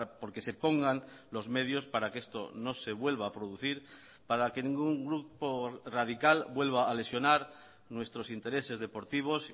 porque se pongan los medios para que esto no se vuelva a producir para que ningún grupo radical vuelva a lesionar nuestros intereses deportivos